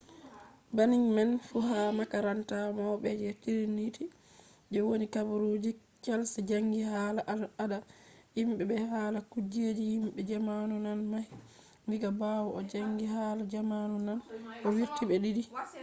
banning man fu ha makaranta mauɓe je triniti je woni kambrij chals jangi hala al ada himɓe be hala kujeji himɓe zamanu nane mahi diga ɓawo o janggi hala zamanu naane. o wurti be 2:2 digri je ɗiɗabre